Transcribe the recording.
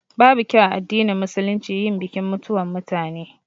Babu kyau a addinin Musulunci yin bikin mutuwan mutane